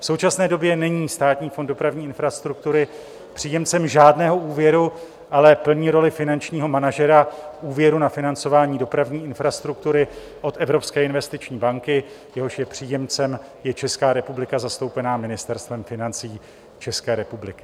V současné době není Státní fond dopravní infrastruktury příjemcem žádného úvěru, ale plní roli finančního manažera úvěru na financování dopravní infrastruktury od Evropské investiční banky, jehož je příjemcem i Česká republika zastoupená Ministerstvem financí České republiky.